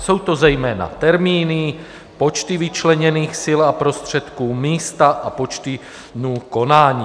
Jsou to zejména termíny, počty vyčleněných sil a prostředků, místa a počty dnů konání.